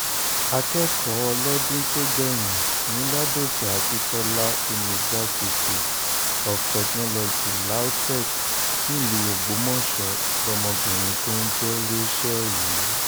akẹ́kọ̀ọ́ ọlọ́dún tó gbẹ̀yìn ní ládòkè akintola universy of technology lautech nílùú ògbómọṣọ lọmọbìnrin tó ń jẹ́ rachael yìí